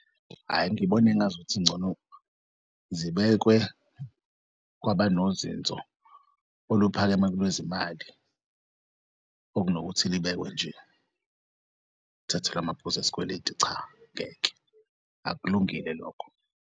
Hhay,i ngibona engazuthi ngcono zibekwe kwabanozinzo oluphakeme kwelezimali okunokuthi libekwe nje kuthathelwe amaphuz'esikweleti, cha ngeke, akulungile lokho.